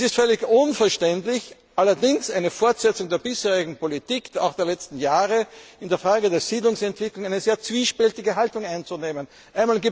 Es ist völlig unverständlich allerdings eine Fortsetzung der bisherigen Politik auch der letzten Jahre dass in der Frage der Siedlungsentwicklung eine sehr zwiespältige Haltung eingenommen